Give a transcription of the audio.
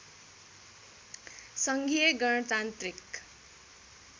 सङ्घीय गणतान्त्रिक